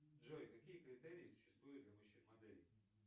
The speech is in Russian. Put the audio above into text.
джой какие критерии существуют для мужчин моделей